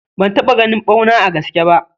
Ban taɓa ganin ɓauna a gaske bah.